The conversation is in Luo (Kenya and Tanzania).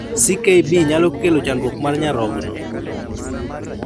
CKB nyalo kelo chandruok mar nyarogno